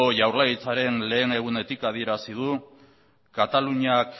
jaurlaritzaren lehen egunetik adierazi dut kataluniak